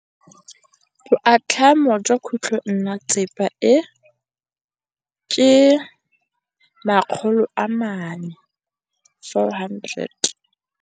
Boatlhamô jwa khutlonnetsepa e, ke 400.